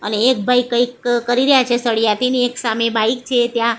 અને એક ભાઈ કંઈક કરી રહ્યા છે સળીયાથી ને એક સામે બાઇક છે ત્યાં.